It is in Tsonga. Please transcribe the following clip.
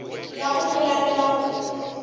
ya ku pulana na ku